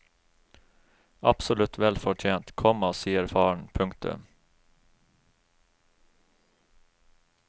Absolutt vel fortjent, komma sier faren. punktum